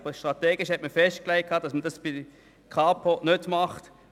Aber man hat strategisch festgelegt, dies im Fall der Kapo nicht zu tun.